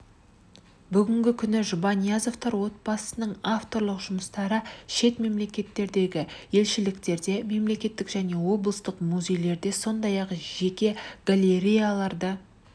бүгінгі күні жұбаниязовтар отбасының авторлық жұмыстары шет мемлекеттеріндегі елшіліктерінде мемлекеттік және облыстық музейлерде сондай-ақ жеке галереяларда